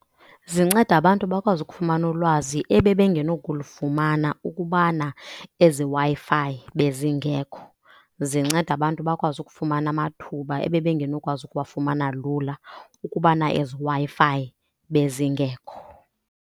Zinceda abantu bakwazi ukufumana ulwazi ebebengeno kulufumana ukubana ezi Wi-Fi bezingekho. Zinceda abantu bakwazi ukufumana amathuba ebebengenokwazi ukuwafumana lula ukubana ezi Wi-Fi bezingekho.